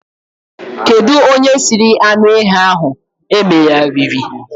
Kedu onye siri anụ ehi ahụ emegharịrị?